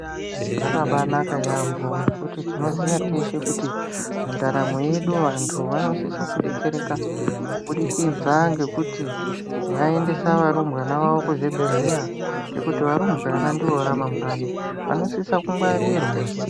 Zvakabanaka yampho ngokuti tinoziya teshe kuti mundaramo yedu vanthu vanosisa kudetsereka kuburikidza ngokuti vaendesa varumbwana vavo kuzvibhedhleya ngokuti varumbwana ndivo ramangwani vanosisa kungwarirwa.